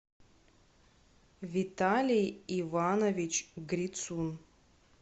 виталий иванович грицун